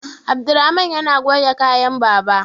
Abdulrahaman yana goge kayan baba